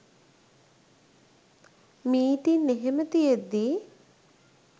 meeting එහෙම තියෙද්දි